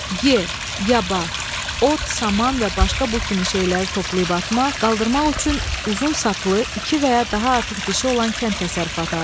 Y, Yaba, ot, saman və başqa bu kimi şeyləri yığıb atmaq, qaldırmaq üçün uzun saplı, iki və ya daha artıq dişi olan kənd təsərrüfatı aləti.